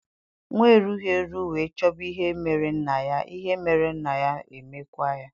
Nwa erughị eru wee chọba ihe mere nna ya, ihe mere nna ya e mekwa ya